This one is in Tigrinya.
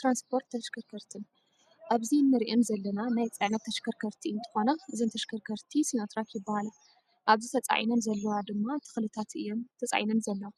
ትርንስፖርት ተሽከርከትን፦ ኣብዚ እንረኣን ዘለና ናይ ፅዕነት ተሽኸርኸርቲ እንትኮና እዘን ተሽከርከርቲ ሲኖትራክ ይበሃላ ። ኣብዚ ተፃዒነን ዘለዋ ድማ ተክሊታት እየን ተፃዒነን ዘለዋ።